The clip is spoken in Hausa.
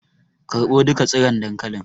Karɓo duka tsiron dankalin